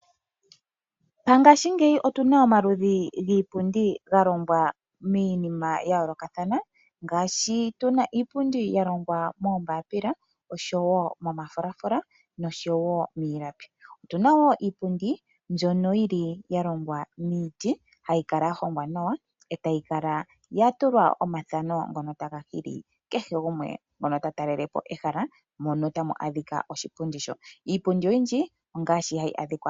Ngashingeyi otu na omaludhi giipundi ga longwa miinima ya yoolokathana, ngaashi tu na iipundi ya longwa moombaapila, osho wo momafulafula nosho wo miilapi. Otu na wo iipundi mbyono yi li ya longwa miiti, hayi kala ya hongwa nawa, e tayi kala ya tulwa omathano ngono taga hili kehe gumwe ngono ta talele po ehala, mono tamu adhika oshipundi sho.